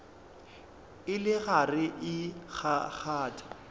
e le gare e kgakgatha